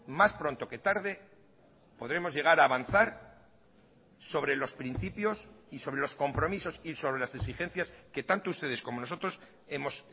más pronto que tarde podemos llegar a avanzar sobre los principios y sobre los compromisos y sobre las exigencias que tanto ustedes como nosotros hemos